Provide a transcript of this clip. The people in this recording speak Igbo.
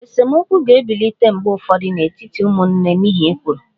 Esemokwu ga-ebilite mgbe ụfọdụ n'etiti ụmụnne n'ihi ekworo